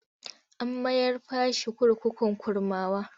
An mayar fa shi kurkukun Kurmawa.